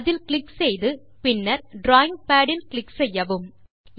அதில் கிளிக் செய்து பின்னர் டிராவிங் பாட் இல் க்ளிக் செய்யவும்